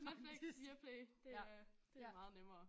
Netflix Viaplay det er det meget nemmere